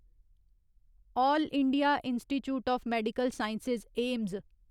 अल्ल India institute of medical science AIIMS